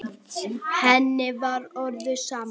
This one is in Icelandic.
Henni var orðið sama.